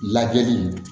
Lajɛli